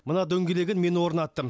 мына дөңгелегін мен орнаттым